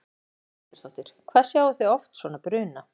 Lillý Valgerður Pétursdóttir: Hvað sjáið þið oft svona bruna?